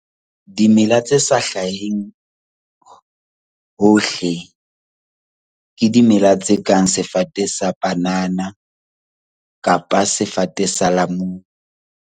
Dimela tse sa hlaheng hohle ke dimela tse kang sefate sa panana kapa sefate sa lamunu.